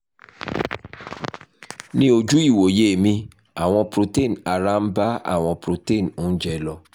ní ojú ìwòye mi àwọn protein ara ń bá àwọn protein oúnjẹ lò